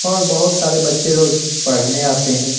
और बहुत सारे बच्चे रोज पढ़ने आते हैं।